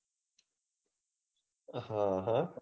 હ હ